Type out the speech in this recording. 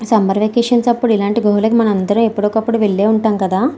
Summer vacation అప్పుడు ఇలాంటి గుహలోకి మనందరం ఎప్పుడో ఒకప్పుడు వెళ్ళే ఉంటాం కదా.